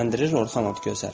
Səsləndirir Orxan Okgözəl.